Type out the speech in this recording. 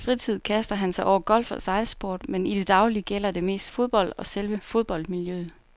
I sin fritid kaster han sig over golf og sejlsport, men i det daglige gælder det mest fodbold og selve fodboldmiljøet.